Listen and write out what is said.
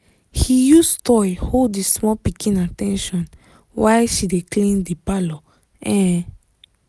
he use toy hold the small pikin at ten tion while she dey clean the parlour um